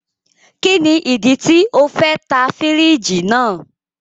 Kini idi ti o fẹ ta firiji naa?